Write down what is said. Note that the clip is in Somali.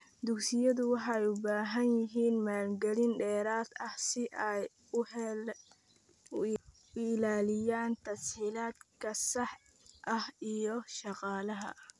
Dugsiyadu waxay u baahan yihiin maalgelin dheeraad ah si ay u ilaaliyaan tas-hiilaadka saxda ah iyo shaqaalaha.